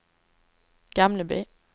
Gamleby